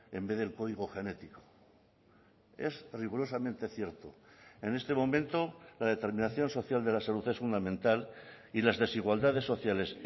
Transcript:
en vez del código genético es rigurosamente cierto en este momento la determinación social de la salud es fundamental y las desigualdades sociales